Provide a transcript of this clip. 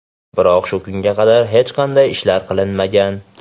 Biroq shu kunga qadar hech qanday ishlar qilinmagan.